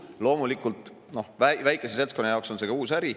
Loomulikult, väikese seltskonna jaoks on see ka uus äri.